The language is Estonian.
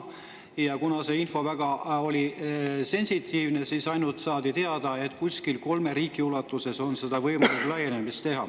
Ja kuna see info oli väga sensitiivne, siis saadi ainult teada seda, et kuskil kolme riigi võrra on võimalik laieneda.